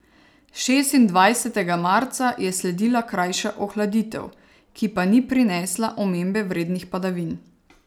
Šestindvajsetega marca je sledila krajša ohladitev, ki pa ni prinesla omembe vrednih padavin.